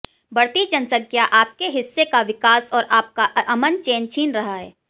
बढ़ती जनसंख्या आपके हिस्से का विकास और आपका अमन चैन छीन रहा है